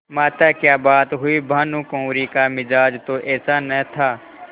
माताक्या बात हुई भानुकुँवरि का मिजाज तो ऐसा न था